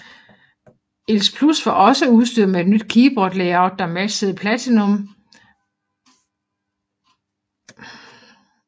IIc Plus var også udstyret med et nyt keyboard layout der matchede Platinum IIe og IIGS